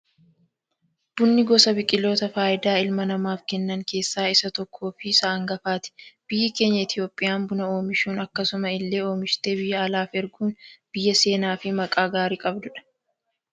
Bunni gosa biqiloota fayidaa ilma namaaf kennan keessaa isa tokko fi isa hangafaati. Biyyi keenya Itoophiyaan buna oomishuun, akkasuma illee oomishtee biyya alaaf erguun biyya seenaa fi maqaa gaarii qabdudha.